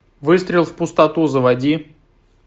выстрел в пустоту заводи